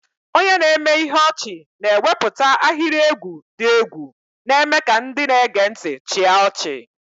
Onye na-eme ihe ọchị na-ewepụta ahịrị egwu dị egwu, na-eme ka ndị na-ege ntị chịa ọchị.